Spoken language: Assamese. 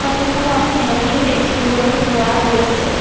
ফটো খনত ভেণ্ডিও দেখিবলৈ পোৱা গৈছে।